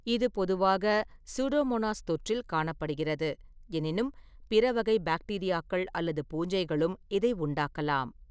இது பொதுவாக சூடோமோனாஸ் தொற்றில் காணப்படுகிறது, எனினும் பிற வகை பாக்டீரியாக்கள் அல்லது பூஞ்சைகளும் இதை உண்டாக்கலாம்.